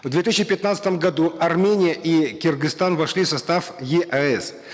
в две тысячи пятнадцатом году армения и кыргызстан вошли в состав еэс